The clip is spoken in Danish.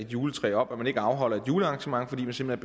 juletræ op og at man ikke afholder et julearrangement fordi man simpelt